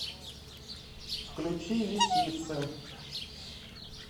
включи лисицын